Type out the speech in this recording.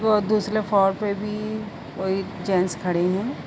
व दुसरे फ्लोर पे भी कोई जेंट्स खड़े हैं।